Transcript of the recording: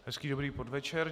Hezký dobrý podvečer.